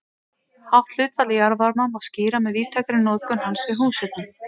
Hátt hlutfall jarðvarma má skýra með víðtækri notkun hans við húshitun.